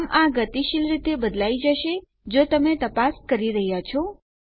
આમ આ ગતિશીલ રીતે બદલાઈ જશે જો તમે તપાસ કરી રહ્યા છો